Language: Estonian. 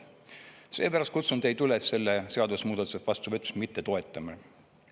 Seepärast kutsun teid üles selle seadusemuudatuse vastuvõtmist mitte toetama.